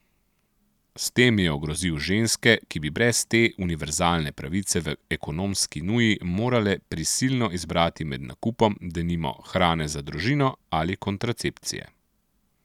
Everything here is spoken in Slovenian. S tem je ogrozil ženske, ki bi brez te univerzalne pravice v ekonomski nuji morale prisilno izbrati med nakupom, denimo, hrane za družino ali kontracepcije.